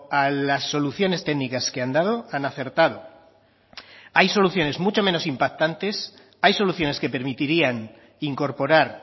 a las soluciones técnicas que han dado han acertado hay soluciones mucho menos impactantes hay soluciones que permitirían incorporar